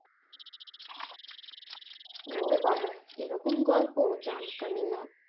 ও বাবা এইরকম গল্প জানতামই না